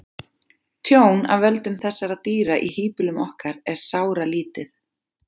tjón af völdum þessara dýra í híbýlum okkar er sáralítið